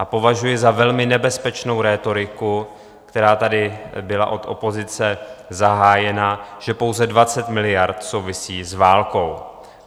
A považuji za velmi nebezpečnou rétoriku, která tady byla od opozice zahájena, že pouze 20 miliard souvisí s válkou.